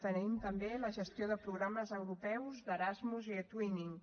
tenim també la gestió de programes europeus d’erasmus i etwinning